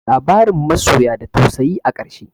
Labarin masoyan da tausayi a ƙarshe.